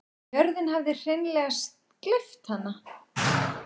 Jörðin hafði hreinleg gleypt hana.